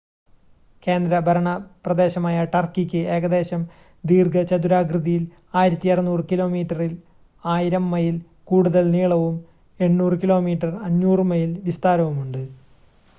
കേന്ദ്രഭരണപ്രദേശമായ ടർക്കിക്ക് ഏകദേശം ദീർഘചതുരാകൃതിയിൽ 1,600 കിലോമീറ്ററിൽ 1,000 മൈല്‍ കൂടുതൽ നീളവും 800 കിലോമീറ്റർ 500 മൈല്‍ വിസ്താരവും ഉണ്ട്